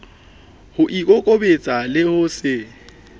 ho ikokobetsa le ho se